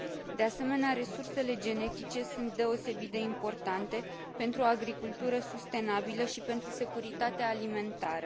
De asemenea, resursele genetice sunt deosebit de importante pentru o agricultură sustenabilă și pentru securitatea alimentară.